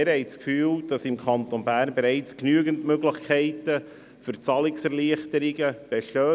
Wir haben das Gefühl, dass im Kanton Bern bereits genügend Möglichkeiten für Zahlungserleichterungen bestehen.